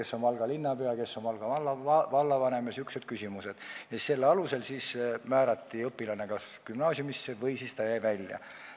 Selle alusel õpilane kas määrati gümnaasiumisse või ta jäi sealt välja.